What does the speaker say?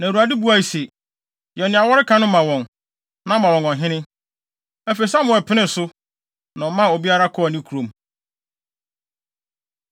na Awurade buae se, “Yɛ nea wɔreka no ma wɔn, na ma wɔn ɔhene.” Afei, Samuel penee so, na ɔmaa obiara kɔɔ ne kurom.